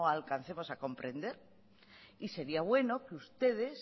alcancemos a comprender y sería bueno que ustedes